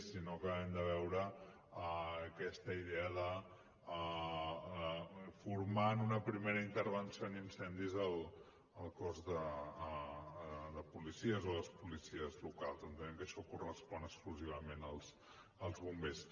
i no acabem de veure aquesta idea de formar en una primera intervenció en incendis el cos de policies o les policies locals entenem que això correspon exclusivament als bombers